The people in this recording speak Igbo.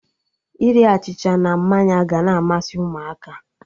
Iri achịcha na mmanya ga na amasị Ụmụaka